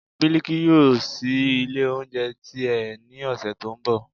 biliki yóò síí ilé oúnjẹ ti e, ní ọṣẹ to n bò